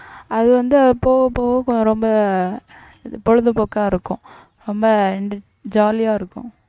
அது வந்து போக போக கொஞ்ச ரொம்ப பொழுதுபோக்கா இருக்கும் ரொம்ப jolly ஆ இருக்கும்